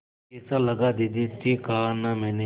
कैसा लगा दीदी ठीक कहा न मैंने